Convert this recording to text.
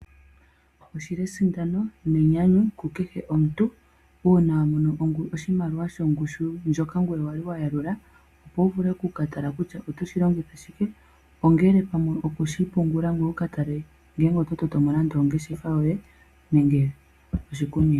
Oshi li esindano nenyanyu ku kehe omuntu uuna a mono oshimaliwa shongushu ndjoka ngoye wali wa yalula, opo wu vule oku ka tala kutya oto shi longitha shike, ongele pamwe oku shi pungula ngoye wu ka tale ngele oto tameke mo nande ongeshefa yoye nenge oshikunino.